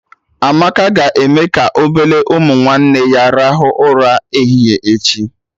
Amaka ga-eme ka obele ụmụ nwanne ya rahụ ụra ehihie echi